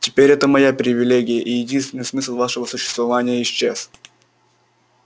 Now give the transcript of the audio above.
теперь это моя привилегия и единственный смысл вашего существования исчез